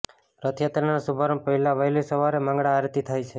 રથયાત્રાના શુભારંભ પહેલાં વહેલી સવારે મંગળા આરતી થાય છે